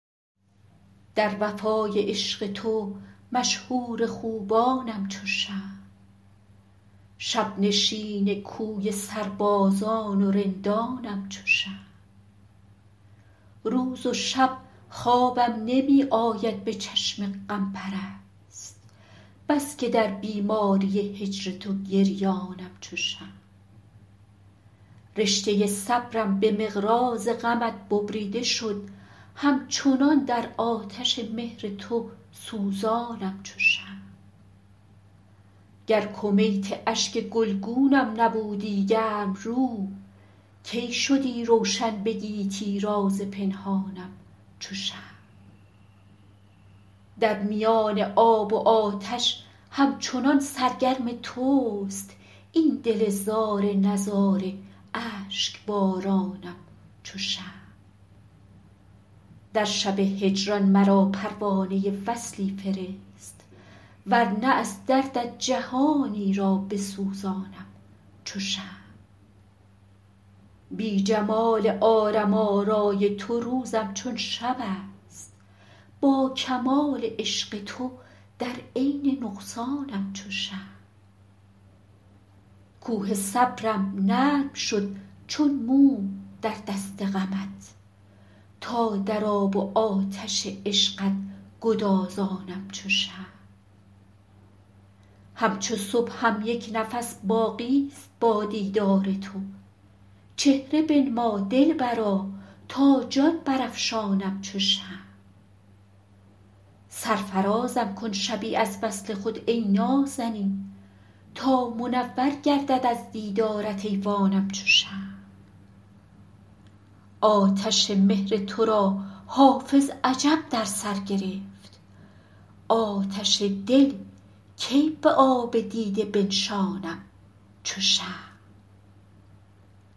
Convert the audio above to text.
در وفای عشق تو مشهور خوبانم چو شمع شب نشین کوی سربازان و رندانم چو شمع روز و شب خوابم نمی آید به چشم غم پرست بس که در بیماری هجر تو گریانم چو شمع رشته صبرم به مقراض غمت ببریده شد همچنان در آتش مهر تو سوزانم چو شمع گر کمیت اشک گلگونم نبودی گرم رو کی شدی روشن به گیتی راز پنهانم چو شمع در میان آب و آتش همچنان سرگرم توست این دل زار نزار اشک بارانم چو شمع در شب هجران مرا پروانه وصلی فرست ور نه از دردت جهانی را بسوزانم چو شمع بی جمال عالم آرای تو روزم چون شب است با کمال عشق تو در عین نقصانم چو شمع کوه صبرم نرم شد چون موم در دست غمت تا در آب و آتش عشقت گدازانم چو شمع همچو صبحم یک نفس باقی ست با دیدار تو چهره بنما دلبرا تا جان برافشانم چو شمع سرفرازم کن شبی از وصل خود ای نازنین تا منور گردد از دیدارت ایوانم چو شمع آتش مهر تو را حافظ عجب در سر گرفت آتش دل کی به آب دیده بنشانم چو شمع